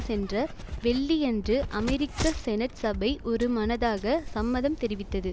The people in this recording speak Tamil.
சென்ற வெள்ளி யன்று அமெரிக்க செனட் சபை ஒருமனதாக சம்மதம் தெரிவித்தது